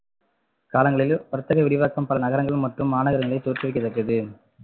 காலங்களில் வர்த்தக விரிவாக்கம் பல நகரங்கள் மற்றும் மாநகரங்களில் தோற்றுவிக்கப்பட்டது